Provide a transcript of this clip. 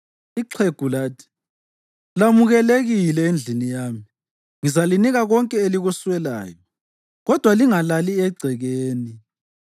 Ixhegu lathi, “Lamukelekile endlini yami. Ngizalinika konke elikuswelayo. Kodwa lingalali egcekeni.”